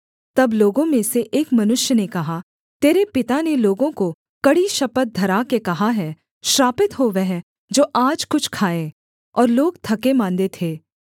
तब लोगों में से एक मनुष्य ने कहा तेरे पिता ने लोगों को कड़ी शपथ धरा के कहा है श्रापित हो वह जो आज कुछ खाए और लोग थकेमाँदे थे